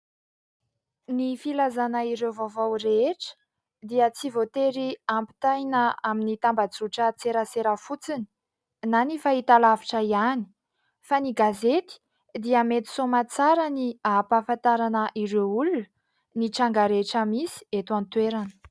Ny filazana ireo vaovao rehetra dia tsy voatery ampitaina amin'ny tambazotran-tserasera fotsiny na fahitalavitra ihany fa ny gazety dia mety soamantsara ny ampahafantarana ireo olona ny tranga rehetra misy eto an-toerana.